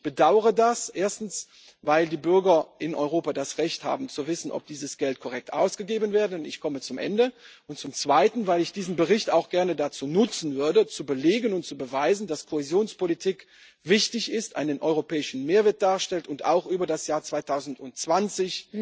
Ich bedaure das, erstens weil die Bürger in Europa das Recht haben zu wissen, ob dieses Geld korrekt ausgegeben wurde, und zweitens weil ich diesen Bericht auch gerne dazu nutzen würde, zu belegen und zu beweisen, dass Kohäsionspolitik wichtig ist, einen europäischen Mehrwert darstellt und auch über das Jahr 2020